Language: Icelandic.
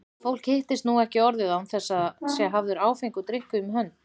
Fólk hittist ekki nú orðið án þess að það sé hafður áfengur drykkur um hönd.